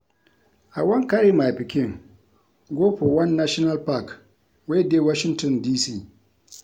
I wan carry my pikin go for one national park wey dey Washington D.C